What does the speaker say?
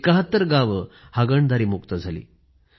७१ गावं हागणदारीमुक्त झाली